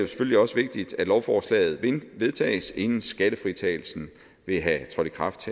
selvfølgelig også vigtigt at lovforslaget vedtages inden skattefritagelsen ville have trådt i kraft